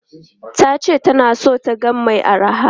Ta ce ta na son taga mai araha.